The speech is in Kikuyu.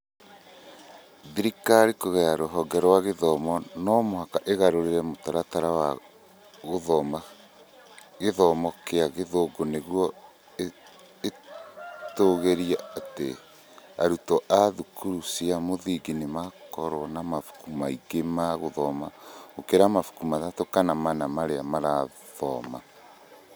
Thirikari, kũgerera rũhonge rwa gĩthomo, no mũhaka ĩgarũre mũtaratara wa gĩthomo kĩa Gĩthũngũ nĩguo ĩtigĩrĩre atĩ arutwo a thukuru cia mũthingi nĩ makoragwo na mabuku maingĩ ma gũthoma gũkĩra mabuku matatũ kana mana marĩa marathoma.